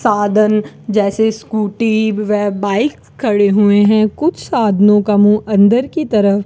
साधन जैसे स्कूटी व बाइक खड़े हुए हैं कुछ साधनों का मुंह अंदर की तरफ --